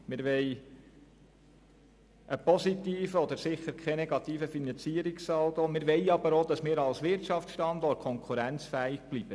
Wir wollen einen positiven Finanzierungssaldo, wir wollen aber auch als Wirtschaftsstandort konkurrenzfähig bleiben.